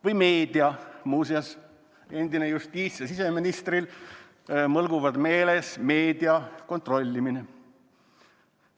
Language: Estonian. Või meedia, muuseas, endine justiits- ja siseministril mõlgub meeles meedia kontrollimine.